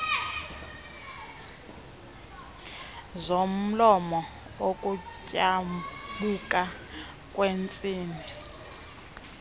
zomlomo ukutyabuka kweentsini